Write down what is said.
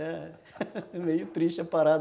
É meio triste a parada.